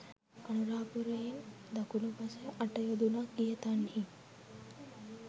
අනුරපුරයෙන් දකුණු පස අට යොදුනක් ගිය තන්හි